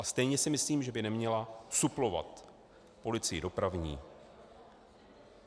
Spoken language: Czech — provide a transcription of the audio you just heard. A stejně si myslím, že by neměla suplovat policii dopravní.